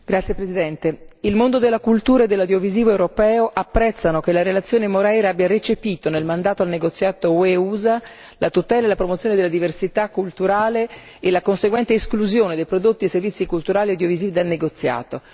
Signor Presidente, onorevoli colleghi, il mondo della cultura e dell'audiovisivo europeo apprezzano che la relazione Moreira abbia recepito, nel mandato al negoziato UE USA, la tutela e la promozione della diversità culturale e la conseguente esclusione dei prodotti e servizi culturali audiovisivi dal negoziato.